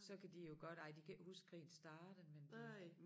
Så kan de jo godt ej de kan ikke huske krigen startede men de